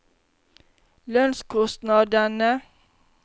lønnskostnadene